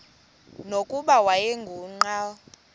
nokuba wayengu nqal